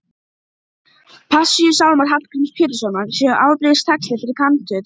Reykjavík, þar sem slíkir farkostir höfðu aldrei áður sést.